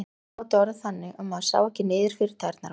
Kvöldin gátu orðið þannig að maður sá ekki niður fyrir tærnar á sér.